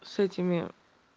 с этими